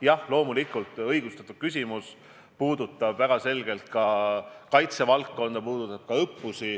Jah, loomulikult on see õigustatud küsimus, puudutab väga selgelt kaitsevaldkonda, sh õppusi.